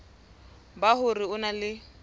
ba hore o na le